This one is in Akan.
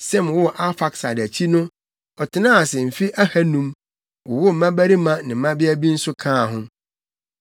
Sem woo Arfaksad akyi no ɔtenaa ase mfe ahannum, wowoo mmabarima ne mmabea bi nso kaa ho.